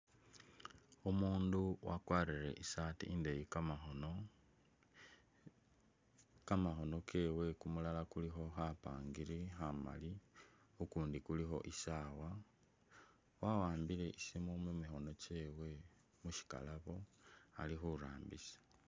Umundu wakwarile isati indeyi kamakhono, kamakhono kewe kumulala kulikho khapangiri khamali kukundi kulikho isaawa wa'ambile ishindu mumikhono musikalabo alikhurambisa